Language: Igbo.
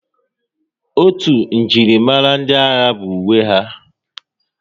Otu njirimara ndị agha bụ uwe ha